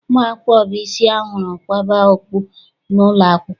Ụmụ akwụkwọ bụ isi ahụrụ kwaba okpu n'ụlọakwụkwọ.